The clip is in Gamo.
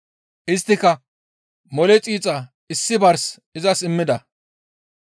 Isttika mole xiixa issi bars izas immida.